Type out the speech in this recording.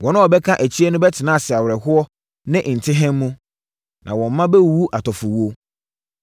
Wɔn a wɔbɛka akyire no bɛtena ase awerɛhoɔ ne ntehem mu. Na wɔn mma bɛwuwu atɔfowuo.